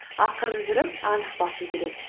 ақырын жүріп анық басу керек